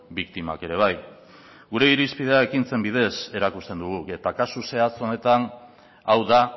biktimak ere bai gure irizpidea ekintzen bidez erakusten dugu eta kasu zehatz honetan hau da